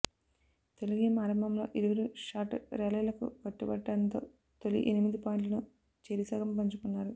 తొలి గేమ్ ఆరంభంలో ఇరువురు షార్ట్ ర్యాలీలకు కట్టుబడటంతో తొలి ఎనిమిది పాయింట్లను చెరిసగం పంచుకున్నారు